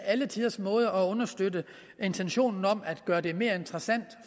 alle tiders måde at understøtte intentionen om at gøre det mere interessant